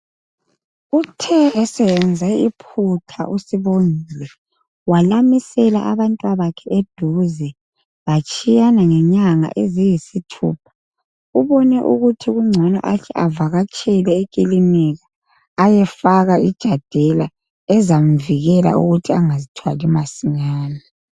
Kuthe eseyenze iphutha uSibongile walamisela abantwabakhe eduze batshiyana ngenyanga eziyisithupha ubone ukuthi kungcono ahle avakatshele ekiliniki ayefaka ijadela ezamvikela ukuthi angazithwali masinyane.